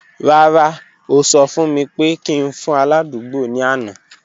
Rara, o sọ fun mi pe ki n fun aladugbo ni ana.